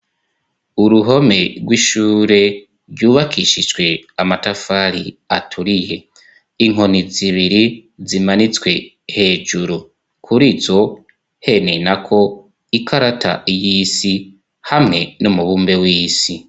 Uruhome rw'ishure ryubakishijwe amatafari aturiye, inkoni zibiri zimanitswe hejuru kuri zo hene nako ikarata y'isi hamwe no mubumbe w'isi.